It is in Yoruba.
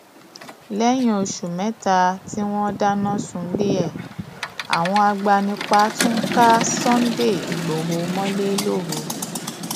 lẹyìn oṣù mẹta tí wọn dáná sunlé e àwọn agbanipa tún ka sunday igbodò mọlẹ lóru